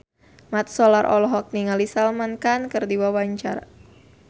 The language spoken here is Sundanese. Mat Solar olohok ningali Salman Khan keur diwawancara